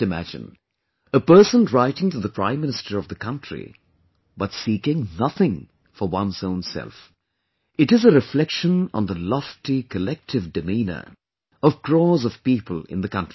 Just imagine... a person writing to the Prime Minister of the country, but seeking nothing for one's own self... it is a reflection on the lofty collective demeanour of crores of people in the country